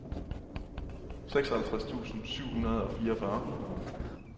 seksoghalvtreds tusind syv hundrede og fireogfyrre